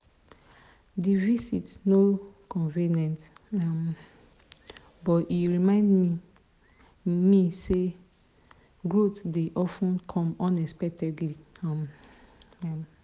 the visit no convenient um but e remind me me say growth dey of ten come unexpectedly. um